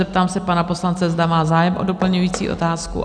Zeptám se pana poslance, zda má zájem o doplňující otázku.